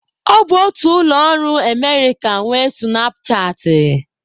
Ọ bụ otu ụlọ ọrụ Emerịka nwe sụnapchaatị.